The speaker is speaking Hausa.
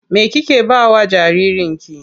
Me kike ba wa jaririnki?